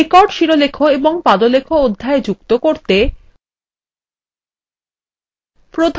record শিরোলেখ এবং পাদলেখ অধ্যায় যুক্ত করতে